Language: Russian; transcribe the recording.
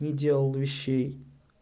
не делал вещей